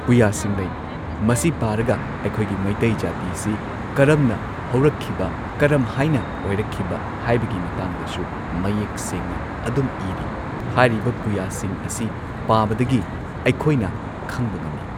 ꯄꯨꯌꯥꯁꯤꯡ ꯂꯩ ꯃꯁꯤ ꯄꯥꯔꯒ ꯑꯩꯈꯣꯏꯒꯤ ꯃꯩꯇꯩ ꯖꯥꯇꯤꯁꯤ ꯀꯔꯝꯅ ꯍꯧꯔꯛꯈꯤꯕ ꯀꯔꯝꯍꯥꯏꯅ ꯑꯣꯏꯔꯛꯈꯤꯕ ꯍꯥꯏꯕꯒꯤ ꯃꯇꯥꯡꯗꯁꯨ ꯃꯌꯦꯛ ꯁꯦꯡꯅ ꯑꯗꯨꯝ ꯏꯔꯤ ꯍꯥꯏꯔꯤꯕ ꯄꯨꯌꯥꯁꯤꯡ ꯑꯁꯤ ꯄꯥꯕꯗꯒꯤ ꯑꯩꯈꯣꯏꯅ ꯈꯪꯕ ꯉꯝꯃꯤ